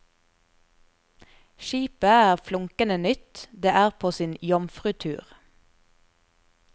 Skipet er flunkende nytt, det er på sin jomfrutur.